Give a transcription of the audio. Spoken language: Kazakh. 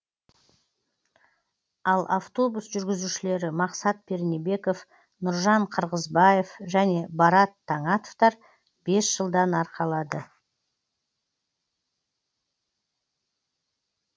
ал автобус жүргізушілері мақсат пернебеков нұржан қырғызбаев және барат таңатовтар бес жылдан арқалады